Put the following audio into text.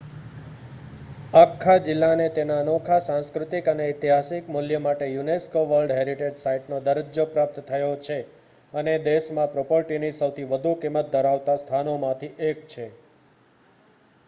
આખા જિલ્લાને તેના અનોખા સાંસ્કૃતિક અને ઐતિહાસિક મૂલ્ય માટે યુનેસ્કો વર્લ્ડ હેરિટેજ સાઇટનો દરજ્જો પ્રાપ્ત થયો છે અને દેશમાં પ્રોપર્ટીની સૌથી વધુ કિંમત ધરાવતા સ્થાનોમાંથી એક છે